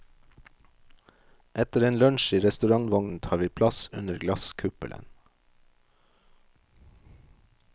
Etter en lunsj i restaurantvognen tar vi plass under glasskuppelen.